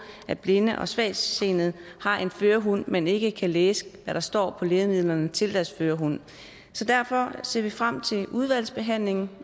at blinde og svagtseende har en førerhund men ikke kan læse hvad der står på lægemidlerne til deres førerhund derfor ser vi frem til udvalgsbehandlingen